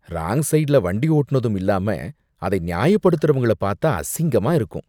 Wrong சைடுல வண்டி ஓட்டுனதும் இல்லாம அதை நியாயப்படுத்தறவங்கள பாத்தா அசிங்கமா இருக்கும்.